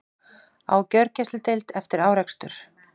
Á gjörgæsludeild eftir árekstur